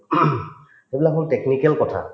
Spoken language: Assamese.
সেইবিলাক বহুত technical কথা